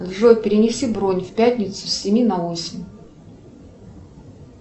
джой перенеси бронь в пятницу с семи на восемь